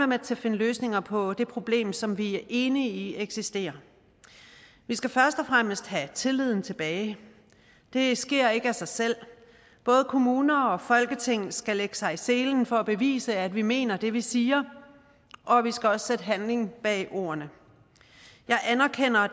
med til at finde løsninger på det problem som vi er enige i eksisterer vi skal først og fremmest have tilliden tilbage det sker ikke af sig selv både kommuner og folketing skal lægge sig i selen for at bevise at vi mener det vi siger og vi skal også handling bag ordene jeg anerkender at